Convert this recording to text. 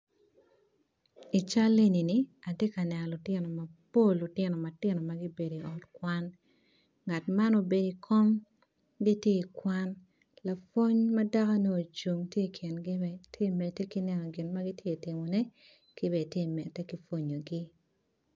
Atye ka neno lutino mapol ma gubedo i ot kwan ngat man obedo i kom gitye ka kwan lapwony madako tye ocung i kingi dok tye ka medde ki pwongogi